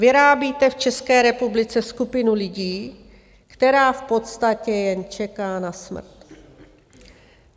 Vyrábíte v České republice skupinu lidí, která v podstatě jen čeká na smrt.